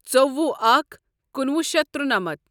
ژوٚوُہ اکھ کُنوُہ شیتھ ترُنمتھ